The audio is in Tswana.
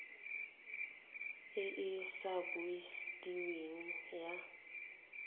e e sa busediweng ya